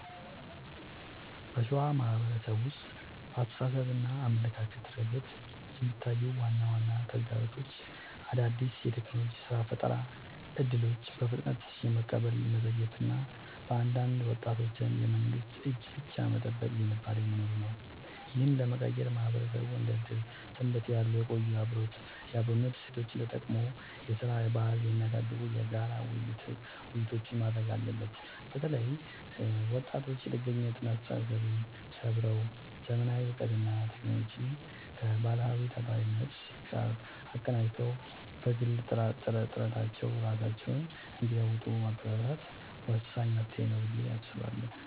በሸዋ ማህበረሰብ ውስጥ በአስተሳሰብና አመለካከት ረገድ የሚታዩት ዋና ዋና ተግዳሮቶች አዳዲስ የቴክኖሎጂና የሥራ ፈጠራ እድሎችን በፍጥነት የመቀበል መዘግየት እና በአንዳንድ ወጣቶች ዘንድ የመንግስትን እጅ ብቻ የመጠበቅ ዝንባሌ መኖሩ ነው። ይህንን ለመቀየር ማህበረሰቡ እንደ ዕድርና ሰንበቴ ያሉ የቆዩ የአብሮነት እሴቶቹን ተጠቅሞ የሥራ ባህልን የሚያሳድጉ የጋራ ውይይቶችን ማድረግ አለበት። በተለይ ወጣቶች የጥገኝነት አስተሳሰብን ሰብረው: ዘመናዊ እውቀትንና ቴክኖሎጂን ከባህላዊው ታታሪነት ጋር አቀናጅተው በግል ጥረታቸው ራሳቸውን እንዲለውጡ ማበረታታት ወሳኝ መፍትሄ ነው ብዬ አስባለሁ።